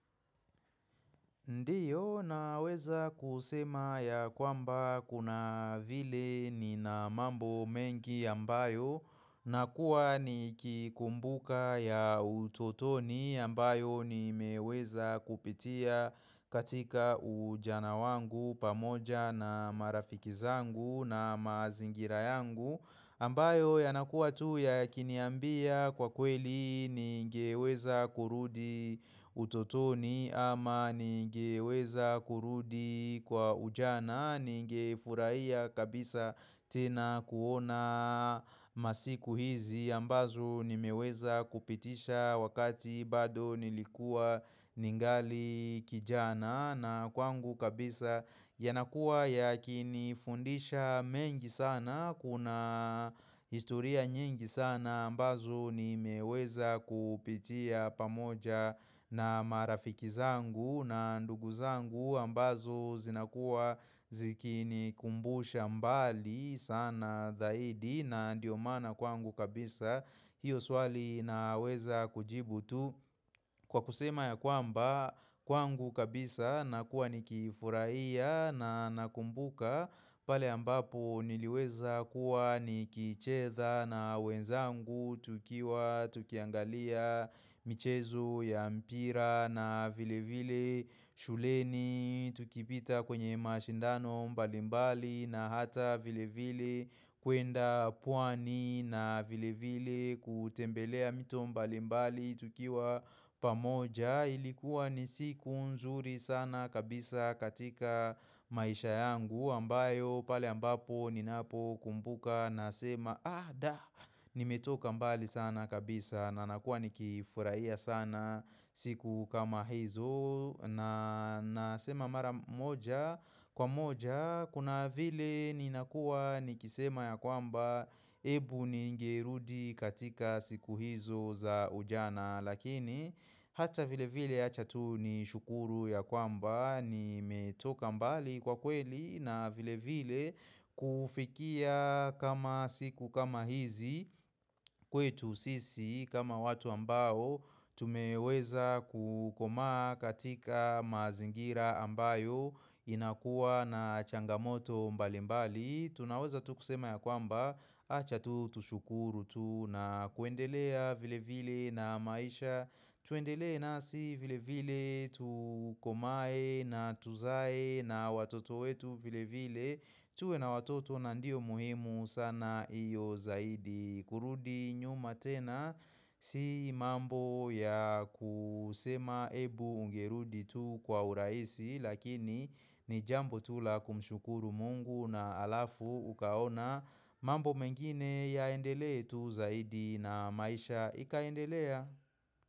Ndiyo naweza kusema ya kwamba kuna vile nina mambo mengi ambayo na kuwa ni kikumbuka ya utotoni ambayo ni meweza kupitia katika ujana wangu pamoja na marafiki zangu na mazingira yangu ambayo yanakua tu ya kiniambia kwa kweli ningeweza kurudi utotoni ama ningeweza kurudi kwa ujana ningefuraia kabisa tena kuona masiku hizi ambazo nimeweza kupitisha wakati bado nilikua ningali kijana na kwangu kabisa yanakuwa yakinifundisha mengi sana, kuna historia nyingi sana ambazo nimeweza kupitia pamoja na marafiki zangu na ndugu zangu ambazo zinakuwa zikinikumbusha mbali sana zaidi na ndio maana kwangu kabisa. Hiyo swali naweza kujibu tu kwa kusema ya kwamba kwangu kabisa na kuwa ni kifurahia na nakumbuka pale ambapo niliweza kuwa ni kicheza na wenzangu tukiwa tukiangalia michezo ya mpira na vile vile shuleni Tukipita kwenye mashindano mbalimbali na hata vile vile kuenda pwani na vile vile kutembelea mito mbalimbali tukiwa pamoja ilikuwa ni siku nzuri sana kabisa katika maisha yangu ambayo pale ambapo ni napo kumbuka Nasema ah da ni metoka mbali sana kabisa na nakuwa nikifurahia sana siku kama hizo Nasema mara moja-kwa-moja kuna vile ninakuwa nikisema ya kwamba Ebu ni ngerudi katika siku hizo za ujana Lakini hata vile vile ya acha tu ni shukuru ya kwamba nimetoka mbali kwa kweli na vile vile kufikia kama siku kama hizi kwetu sisi kama watu ambao tumeweza kukomaa katika mazingira ambayo inakuwa na changamoto mbali mbali Tunaweza tu kusema ya kwamba acha tu tushukuru tu na kuendelea vile vile na maisha Tuendele na si vile vile tu komae na tuzae na watoto wetu vile vile tuwe na watoto na ndio muhimu sana iyo zaidi kurudi nyuma tena si mambo ya kusema ebu ungerudi tu kwa uraisi lakini ni jambo tu la kumshukuru mungu na alafu ukaona mambo mengine yaendele tu zaidi na maisha ikaendelea.